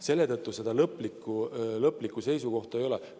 Selle tõttu lõplikku seisukohta ei ole.